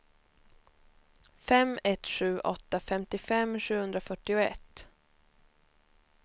fem ett sju åtta femtiofem sjuhundrafyrtioett